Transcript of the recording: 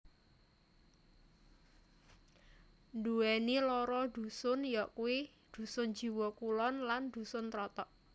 Nduwèni loro dusun yakuwi Dusun Jiwo Kulon lan Dusun Trotok